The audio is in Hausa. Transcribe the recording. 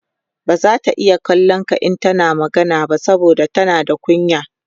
bazata iya kallon ka in tana magana ba saboda tana da kunya